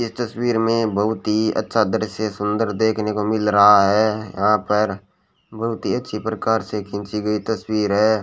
ये तस्वीर मे बहुत ही अच्छा दृश्य सुंदर देखने को मिल रहा है यहां पर बहुत ही अच्छी प्रकार से खींची गई तस्वीर है।